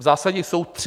V zásadě jsou tři.